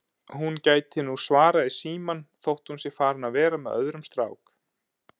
Hún gæti nú svarað í símann þótt hún sé farin að vera með öðrum strák